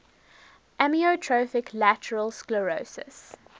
amyotrophic lateral sclerosis